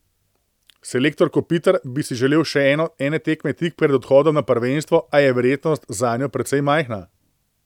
Selektor Kopitar bi si želel še ene tekmo tik pred odhodom na prvenstvo, a je verjetnost zanjo precej majhna.